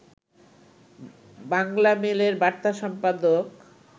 বাংলামেইলের বার্তা সম্পাদক